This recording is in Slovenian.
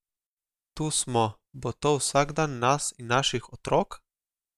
Tu smo, bo to vsakdan nas in naših otrok?